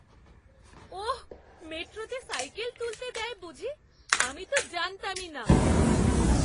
ওহ! মেট্রোতে সাইকেল তুলতে দেয় বুঝি। আমি তো জানতামই না।